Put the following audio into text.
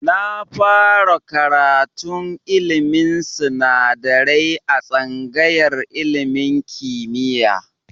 Na fara karatun ilmin sinadarai a tsangayar ilmin kimiya